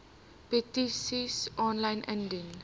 petisies aanlyn indien